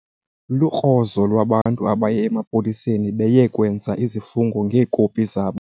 Lukrozo lwabantu abaye emapoliseni beye kwenza izifungo ngeekopi zabo.